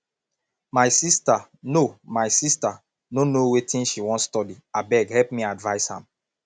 my sister no my sister no know wetin she wan study abeg help me advice am